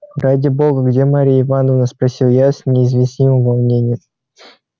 ради бога где марья ивановна спросил я с неизъяснимым волнением